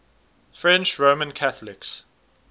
french roman catholics